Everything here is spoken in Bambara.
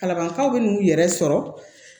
Kalabankaw bɛ n'u yɛrɛ sɔrɔ